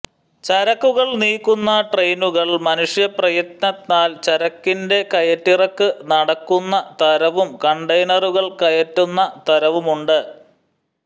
ചരക്കുകൾ നീക്കുന്ന ട്രെയിനുകൾ മനുഷ്യ പ്രയത്നത്താൽ ചരക്കിന്റെ കയറ്റിറക്ക് നടക്കുന്ന തരവും കണ്ടെയ്നറുകൾ കയറ്റുന്ന തരവുമുണ്ട്